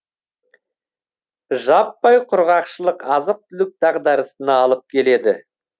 жаппай құрғақшылық азық түлік дағдарысына алып келеді